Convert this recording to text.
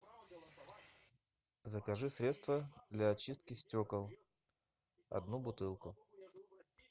закажи средство для очистки стекол одну бутылку